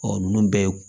Ɔ ninnu bɛɛ ye